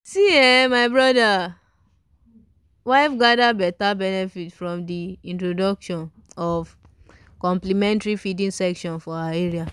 see eh my brother wife gather betta benefited from the introduction of complementary feeding sessions for her area.